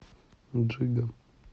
джига